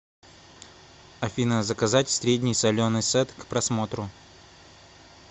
афина заказать средний соленый сет к просмотру